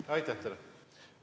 Aitäh teile!